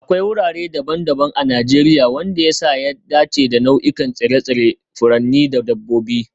Akwai wurare daban-daban a Najeriya wanda ya sa ya dace da nau'ikan tsire-tsire, furanni da dabbobi